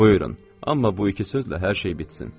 Buyurun, amma bu iki sözlə hər şey bitsin.